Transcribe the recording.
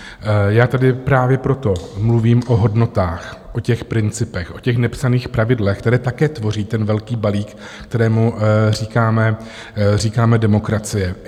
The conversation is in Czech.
Já tady právě proto mluvím o hodnotách, o těch principech, o těch nepsaných pravidlech, které také tvoří ten velký balík, kterému říkáme demokracie.